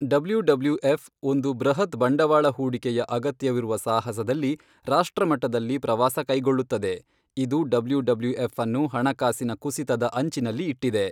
W W F ಒಂದು ಬೃಹತ್ ಬಂಡವಾಳ ಹೂಡಿಕೆಯ ಅಗತ್ಯವಿರುವ ಸಾಹಸದಲ್ಲಿ ರಾಷ್ಟ್ರಮಟ್ಟದಲ್ಲಿ ಪ್ರವಾಸ ಕೈಗೊಳ್ಳುತ್ತದೆ, ಇದು ಡಬ್ಲ್ಯೂ ಡಬ್ಲ್ಯೂ ಎಫ್ ಅನ್ನು ಹಣಕಾಸಿನ ಕುಸಿತದ ಅಂಚಿನಲ್ಲಿ ಇಟ್ಟಿದೆ.